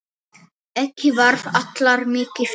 Ekki þarf alltaf mikið til.